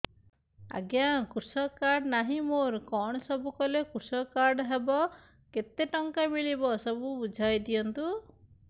ଆଜ୍ଞା କୃଷକ କାର୍ଡ ନାହିଁ ମୋର କଣ ସବୁ କଲେ କୃଷକ କାର୍ଡ ହବ କେତେ ଟଙ୍କା ମିଳିବ ସବୁ ବୁଝାଇଦିଅନ୍ତୁ